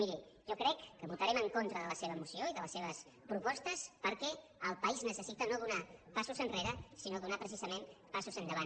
miri jo crec que votarem en contra de la seva moció i de les seves propostes perquè el país necessita no donar passos enrere sinó donar precisament passos endavant